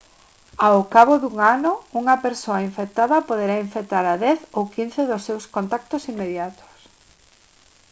ao cabo dun ano unha persoa infectada poderá infectar a 10 ou 15 dos seus contactos inmediatos